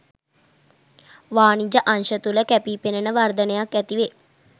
වාණිජ අංශ තුළ කැපීපෙනෙන වර්ධනයක් ඇති වේ.